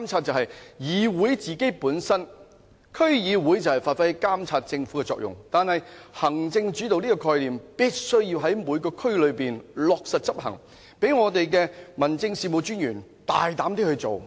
區議會本身就是要發揮監察政府的作用，但行政主導的概念必須在每區落實執行，讓民政事務專員可大膽地去工作。